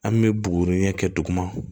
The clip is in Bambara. An bɛ bugurin ɲɛ kɛ duguma